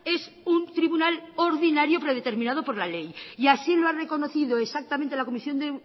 es un tribunal ordinario predeterminado por la ley y así lo ha reconocido exactamente la comisión